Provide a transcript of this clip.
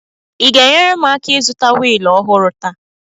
Ị ga-enyere m aka ịzụta wịịlụ ọhụrụ taa?